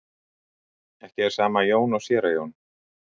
Ekki er sama Jón og séra Jón.